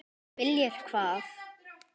Viljir hvað?